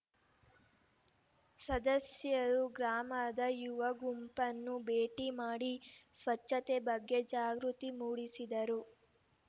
ಸದಸ್ಯರು ಗ್ರಾಮದ ಯುವ ಗುಂಪುಗಳನ್ನು ಭೇಟಿ ಮಾಡಿ ಸ್ವಚ್ಛತೆ ಬಗ್ಗೆ ಜಾಗೃತಿ ಮೂಡಿಸಿದರು